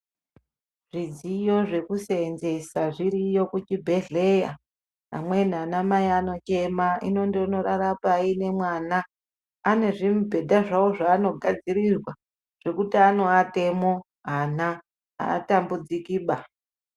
Zvidziyo zvekusenzesa zviriyo kuchibhehleya amweni ana mai anochema hino ndondorara payi nemwana anezvimbubhedha zvavo zvavano ngadzirirwa zvekuti anowatemo ana atambudzikiba.